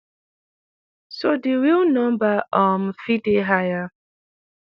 so di real number um fit dey higher.